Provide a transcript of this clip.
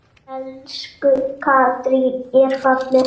Elsku Katrín er fallin frá.